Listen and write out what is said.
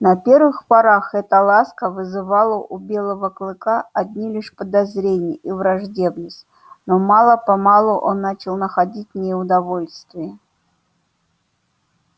на первых порах эта ласка вызывала у белого клыка одни лишь подозрения и враждебность но мало помалу он начал находить в ней удовольствие